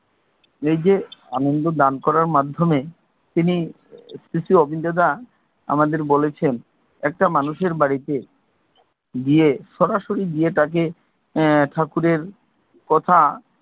এই যে আনন্দ দান করার মাধ্যমে তিনি শ্রী শ্রী অবিন্দ্র দা আমাদের বলেছেন, একটা মানুষের বাড়িতে গিয়ে, সরাসরি গিয়ে তাকে এর ঠাকুরের কথা,